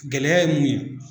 Gɛlɛya ye mun ye